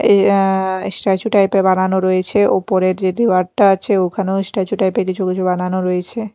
এই আ statue type -এর বানানো রয়েছে উপরে যে দুয়ারটা আছে ওখানেও স্ট্যাচু টাইপ -এর কিছু কিছু বানানো রয়েছে।